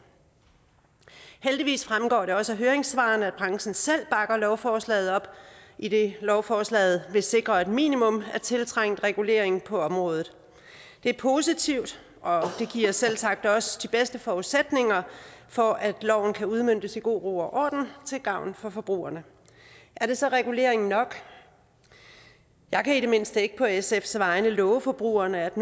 heldigvis fremgår det også af høringssvarene at branchen selv bakker lovforslaget op idet lovforslaget vil sikre et minimum af tiltrængt regulering på området det er positivt og det giver selvsagt også de bedste forudsætninger for at loven kan udmøntes i god ro og orden til gavn for forbrugerne er det så regulering nok jeg kan i det mindste ikke på sfs vegne love forbrugerne at